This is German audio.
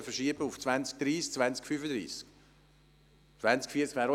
Am besten wäre also eine Verschiebung auf das Jahr 2030 oder 2035.